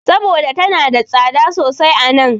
Saboda tana da tsada sosai a nan.